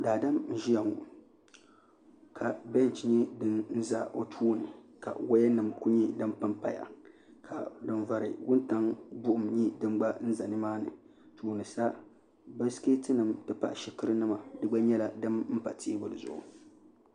daadam n ʒiya ŋɔ ka bɛnch nyɛ din ʒɛ o tooni ka woya nim panpaya ka din vari wuntaʋ buɣum gba nyɛ din ʒɛ nimaani tooni sa biskeeti nim ti pahi shikiri nima di gba nyɛla din pa teebuli zuɣu